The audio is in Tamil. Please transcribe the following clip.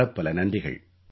பலப்பல நன்றிகள்